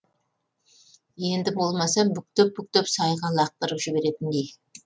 енді болмаса бүктеп бүктеп сайға лақтырып жіберетіндей